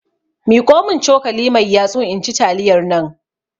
miƙomin cokali mai yatsu inci taliyarnan